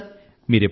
అవును సర్